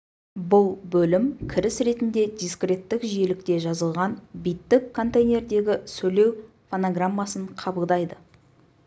бұл бөлім кіріс ретінде дискреттік жиілікте жазылған биттік -контейнердегі сөйлеу фонограммасын қабылдайды